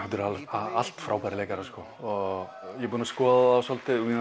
allt frábærir leikarar sko ég er búinn að skoða svolítið og